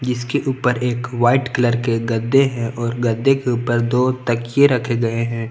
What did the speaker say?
जिसके ऊपर एक वाइट कलर के गद्दे हैं और गद्दे के ऊपर दो तकिये रखे गए हैं।